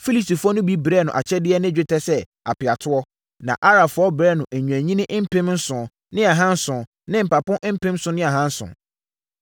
Filistifoɔ no bi brɛɛ no akyɛdeɛ ne dwetɛ sɛ apeatoɔ, na Arabfoɔ brɛɛ no nnwennini mpem nson ne ahanson ne mpapo mpem nson ne ahanson.